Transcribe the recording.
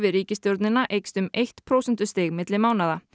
ríkisstjórnina eykst um eitt prósentustig á milli mánaða